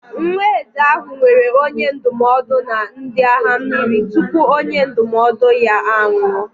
Nwa eze ahụ nwere onye ndụmọdụ na ndị agha mmiri tupu onye ndụmọdụ ya anwụọ.